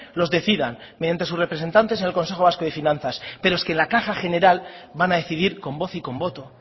los decidan mediantes sus representantes en el consejo vasco de finanzas pero es que en la caja general van a decidir con voz y con voto